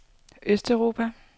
østeuropa